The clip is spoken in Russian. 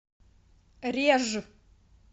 реж